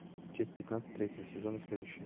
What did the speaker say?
часть пятнадцать третьего сезона следующую